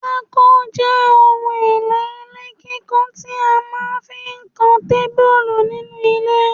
Pako je ohun èlò ilé kíkọ tí a máa fí ń kan tábìlì nínú ile